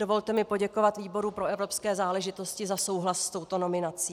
Dovolte mi poděkovat výboru pro evropské záležitosti za souhlas s touto nominací.